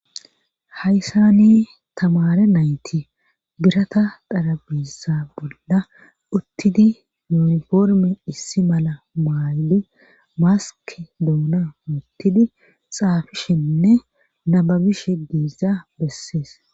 Hayssani tamare nayti birata xarabissa bolla uttidi uniforme issi mala maayidi maski doona uttidi xaafishenne nababish diza bessees.